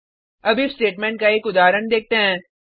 अब if statement का एक उदाहरण देखते हैं